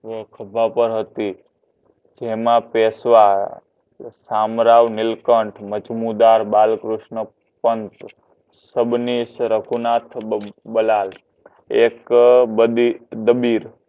ખભા પર હતી જેમના પેશવા થામરાવ નીલકંઠ મજમુદાર બાલકૃષ્ણ પણ રઘુનાથ બલાલ એક બભીર ડાભીર